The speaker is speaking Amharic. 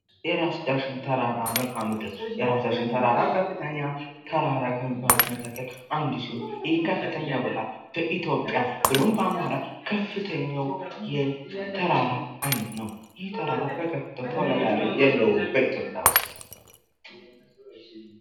የራስ ዳሽን ተራራ መልከአምድር የራስ ዳሽን ተራራ ከፍተኛ ከሚባሉት ተራራ ከሚባሉት አንዱ ሲሆን ይህ ከፍተኛ ቦታ በኢትዮጵያ ብሎም በአማራ ከፍተኛው ተራራ አይነት ነው። ይህ ተራራ በከፍታው ተወዳዳሪ የለውም በኢትዮጵያ ዉስጥ።